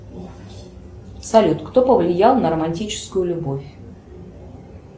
салют кто повлиял на романтическую любовь